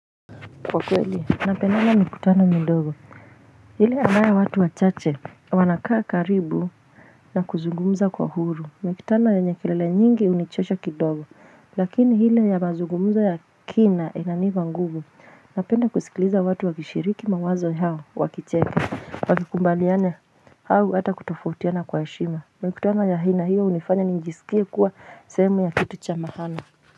Kwa kweli napendanga mikutano midogo, ile ambayo watu wachache wanakaa karibu na kuzungumuza kwa huru. Mikutano yenye kilele nyingi hunijosha kidogo, lakini ile ya mazugumzo ya kina inanipa nguvu. Napenda kusikiliza watu wakishiriki mawazo yao wakicheka, wakikubaliana au hata kutofotiana kwa heshima. Mikutano ya aina hiyo hunifanya nijisikie kuwa sehemu ya kitu cha maana.